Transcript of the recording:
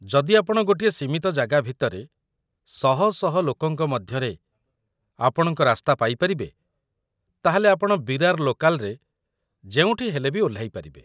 ଯଦି ଆପଣ ଗୋଟିଏ ସୀମିତ ଜାଗା ଭିତରେ ଶହ ଶହ ଲୋକଙ୍କ ମଧ୍ୟରେ ଆପଣଙ୍କ ରାସ୍ତା ପାଇ ପାରିବେ, ତା'ହେଲେ ଆପଣ ବିରାର ଲୋକାଲ୍‌ରେ ଯେଉଁଠି ହେଲେ ବି ଓହ୍ଲାଇପାରିବେ ।